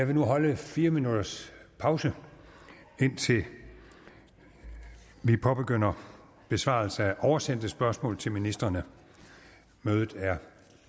vil nu holde fire minutters pause indtil vi påbegynder besvarelse af oversendte spørgsmål til ministrene mødet er